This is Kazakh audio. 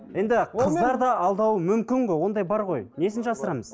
енді қыздар да алдауы мүмкін ғой ондай бар ғой несін жасырамыз